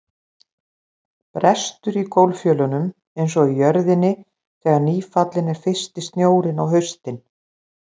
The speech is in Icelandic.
Brestur í gólffjölunum einsog í jörðinni þegar nýfallinn er fyrsti snjórinn á haustin.